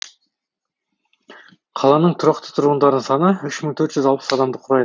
қаланың тұрақты тұрғындарының саны үш мың төрт жүз алпыс адамды құрайды